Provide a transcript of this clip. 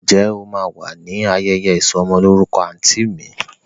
Ǹjẹ́ o máa wà ní ayẹyẹ ìsọ'mọlórúkọ àǹtí mi?